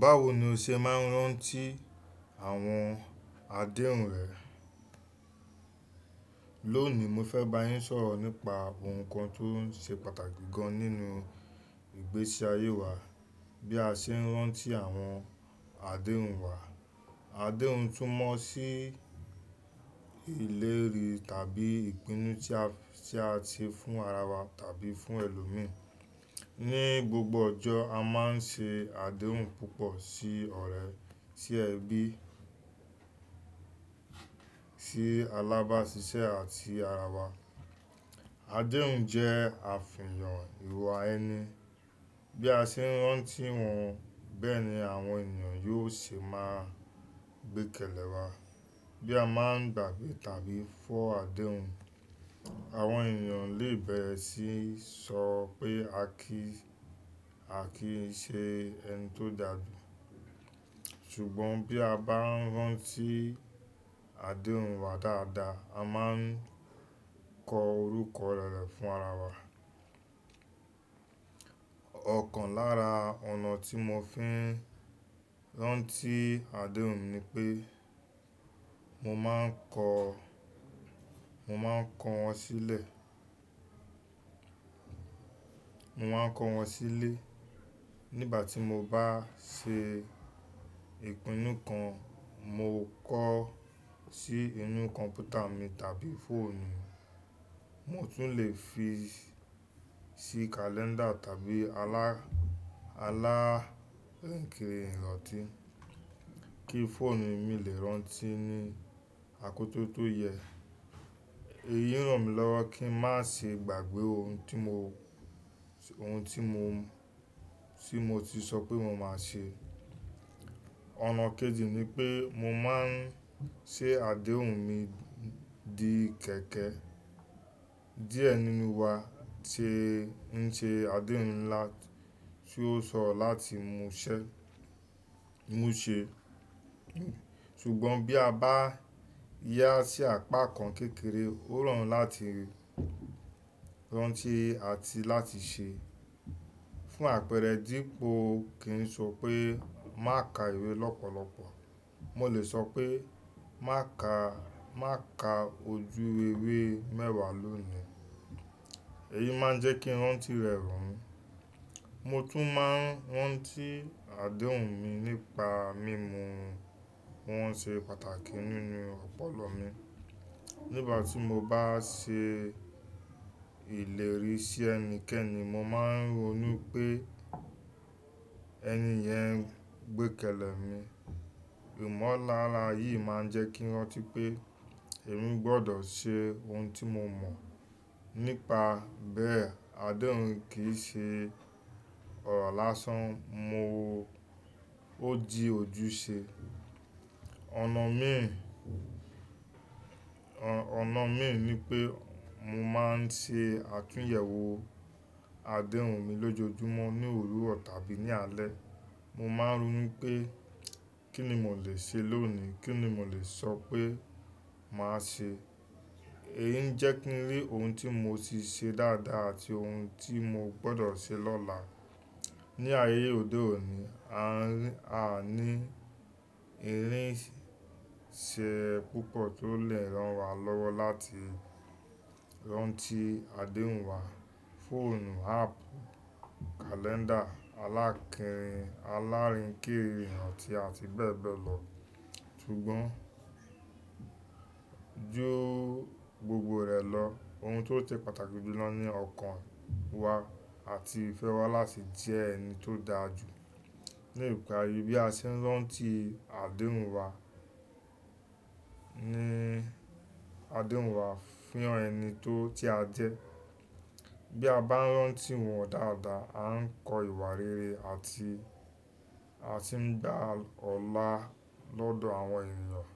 Báwo ni o ṣe máa ń rántí àwọn àdéhùn rẹ? Lónìí, mo fẹ́ bá yín sọ̀rọ̀ nípa ohun kan tó ṣe pàtàkì gan nínú ìgbésí ayé wa, bí a ṣe ń rántí àwọn àdéhùn wa. Àdéhùn túmọ̀ sí ìlérí tàbí ìpinnu tí a ti fún ara wa tàbí fún ẹlòmíràn. Ni gbogbo ọjọ́, a máa ń ṣe àdéhùn púpọ̀ sí ọ̀rẹ́, sí ẹbí, sí alábáṣiṣẹ́ àti ara wa. Àdéhùn jẹ́ àfihàn ìwà ẹni. Bí a ṣe ń rántí wọn, bẹ́ẹ̀ ni àwọn ènìyàn yóò ṣe máa gbé kèlè wa. Bí a máa ń gbàgbé tàbí fọ́ àdéhùn, àwọn ènìyàn lè bẹ̀rẹ̀ sí í sọ pé a kì í ṣe ẹni tó dàgbà. Ṣùgbọ́n bí a bá ń rántí àdéhùn wa dáadáa, a máa ń kọ orúkọ rere fún ara wa. Ọ̀kan lára ọ̀nà tí mo fi ń rántí àdéhùn ni pé mo máa ń kọ wọ́n sílẹ̀. Mo máa ń kọ wọ́n sílẹ̀ nígbà tí mo bá ṣe ìpinnu kan mo kọ sí inú kọ̀m̀pútà mi tàbí fóònù. Mo tún lè fi sí kàléńdà tàbí alárínkìrì iranti kí fóònù mi lè rántí ní àkókò tó yẹ. Èyí ràn mí lọ́wọ́ kí n má ṣe gbàgbé ohun tí mo ti sọ pé mo máa ṣe. Ọ̀nà kejì ni pé mo máa ń ṣe àdéhùn mi di kẹ̀kẹ́. Diẹ nínú wa ṣe ń ṣe àdéhùn ńlá tí ó sọ̀ láti mú ṣẹ́, mú ṣe. Ṣùgbọ́n bí a bá yá sí apá kan kékeré, ó rọrùn láti rántí àti láti ṣe. Fún àpẹẹrẹ, dípò kí n sọ pé má ka ìwé lọ́pọ̀lọpọ̀, mo lè sọ pé má ka ojú ìwé mẹ́wàá lónìí. Èyí máa ń jẹ́ kí rántí rẹ̀ rọrùn. Mo tún máa ń rántí àdéhùn mi nípa mímu ohun tí ó ṣe pàtàkì nínú ọpọlọ mi. Nígbà tí mo bá ṣe ìlérí sí ẹni kankan, mo máa ń rò nú pé ẹni yẹn ń gbé kèlè mi. Ìmọ̀lára yìí máa ń jẹ́ kí rántí pé èmi gbọ́dọ̀ ṣe ohun tí mo mọ̀. Nípa bẹ́ẹ̀, àdéhùn kì í ṣe ọ̀rọ̀ lásán, mo-- ó di ojúṣe. Ọ̀nà míì, ọ̀nà míì ni pé mo máa ń ṣe àtúnyẹ̀wò àdéhùn mi lójoojúmọ́ ní òwuro tá bí ní alẹ́. Mo máa ń rònu wí pé kí ni mo lè ṣe lónìí, kí ni mo lè sọ pé màá ṣe. Èyí ń jẹ́ kí n rí ohun tí mo ti ṣe dáadáa àti ohun tí mo gbọ́dọ̀ ṣe lọ́la. Ni ayé òde òní, a ní irinṣẹ́ púpọ̀ tó lè rán wa lọ́wọ́ láti rántí àdéhùn wa. Fóònù, áàpù, kàléńdà, alárínkìrì iranti àti bẹ́ẹ̀ bẹ́ẹ̀ lọ. Ṣùgbọ́n ju gbogbo rẹ̀ lọ, ohun tó ṣe pàtàkì jù lọ ni ọkàn wa àti ìfẹ́ wa láti jẹ ẹni tó dàra ju. Ni ìparí, bí a ṣe ń rántí àdéhùn wa, ní àdéhùn wa fi han ẹni tó-- ti a jẹ. Bí a bá ń rántí wọn dáadáa, a ń kọ ìwà rere àti-- asi ń gba ọlá lọ́dọ̀ àwọn ènìyàn.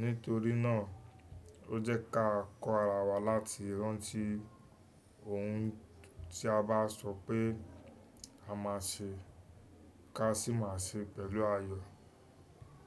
Nítorí náà, ó jẹ́ ká kọ́ ara wa láti rántí ohun tí a bá sọ pé a máa ṣe ká sì máa ṣe pẹ̀lú ayọ̀.